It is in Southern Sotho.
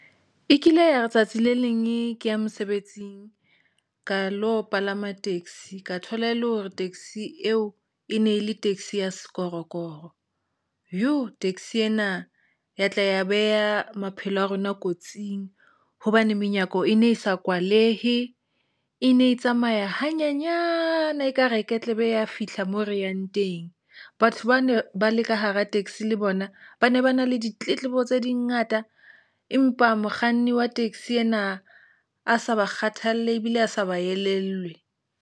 E kile ya letsatsi le leng ee ke ya mosebetsing ka lo palama taxi ka thola e le hore taxi eo e ne le taxi ya sekorokoro. Taxi ena ya tla ya beha maphelo a rona kotsing hobane menyako e ne e sa kwalehe ene e tsamaya hanyenyana, ekare ke tla be ya fihla moo re yang teng. Batho ba ne ba le ka hara taxi le bona ba ne ba na le ditletlebo tsa di ngata, empa mokganni wa taxi ena a sa ba kgathalle ebile a sa ba elellwe.